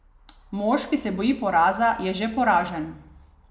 Mož, ki se boji poraza, je že poražen.